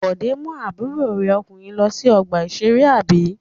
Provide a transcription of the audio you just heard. Bọ̀dé mú àbúrò rẹ̀ ọkùnrin lọ sí ọgbà-ìṣeré, àbí?